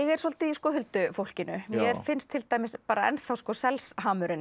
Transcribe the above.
er svolítið í huldufólkinu mér finnst til dæmis